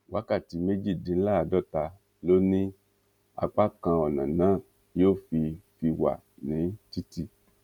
wákàtí méjìdínláàádọta ló ní apá kan ọnà náà yóò fi fi wà ní títì